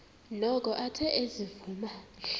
noko athe ezivuma